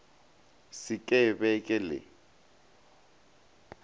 se ke be ke le